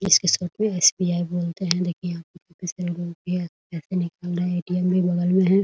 SBI. बोलते हैं ATM. भी बगल में है ।